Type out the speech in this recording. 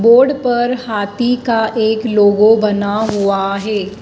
Board पर हाथी का एक लोगो बना हुआ है।